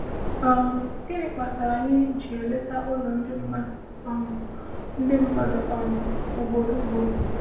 um Gịnị kpatara anyị ji eleta ụlọ ndị mmadụ um ndị mmadụ um ugboro ugboro?